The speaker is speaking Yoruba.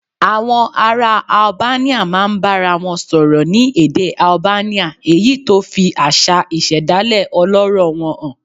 Àwọn ará Albania máa ń bára wọn sọ̀rọ̀ ní èdè Albania, èyí tó fi àṣà ìṣẹ̀dálẹ̀ ọlọ́rọ̀ wọn hàn